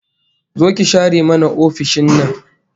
Zo ki share mana ofishin nan